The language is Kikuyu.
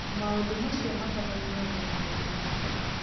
Maũndũ macio makonainie na maũndũ maingĩ.